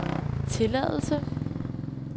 tilladelse